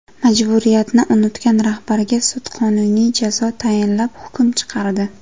Majburiyatni unutgan rahbarga sud qonuniy jazo tayinlab hukm chiqardi.